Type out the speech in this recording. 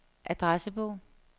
adressebog